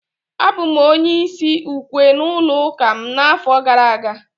Abụ m onye isi ukwe n'ụlọ ụka m n'afọ gara aga